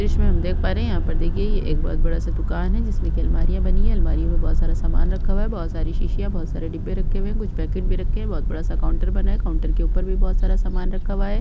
दृश्य में हम देख पा रहै है यहाँ पर देखिये ये एक बहुत बड़ा- सा दुकान है जिसमें की अलमारियाँ बनी है अलमारियों में बहुत सारा सामान रखा हुआ है बहुत सारी शिशियाँ बहुत सारी डिब्बे रखे हुए है कुछ पैकेट भी रखे है बहुत बड़ा- सा काउंटर बना है काउंटर के ऊपर भी बहुत सारा सामान रखा हुआ हैं।